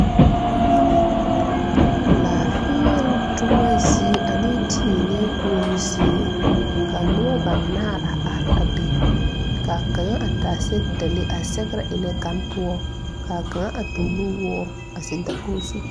Laafēēloŋ toma zie ane tēēnɛɛ koɔroo zie kaa nobɔ banaare a are a be kaa kaŋa a taa sɛgedalee a sɛgrɛ eŋnɛ gane poɔ kaa kaŋa a toore nu woore a zeŋ dakoge zu.